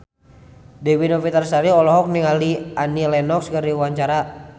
Dewi Novitasari olohok ningali Annie Lenox keur diwawancara